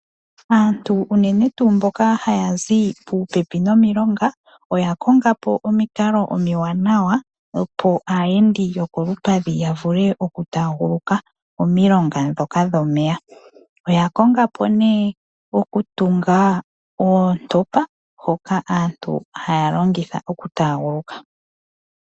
Aantu unene tuu mba haya zi pooha nomiilonga oya konga po omikalo dhimwe aayendi yokolupadhi ya vuleya taaguluke omilonga dhoka dhomeya. Oya konga po nee omikalo dhoku tunga oontopa hoka aantu haya longitha oku tanguluka.